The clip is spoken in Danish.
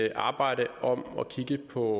et arbejde om at kigge på